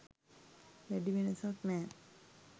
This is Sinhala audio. වැඩිවෙනසක් නෑ.